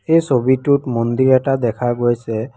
এই ছবিটোত মন্দিৰ এটা দেখা গৈছে।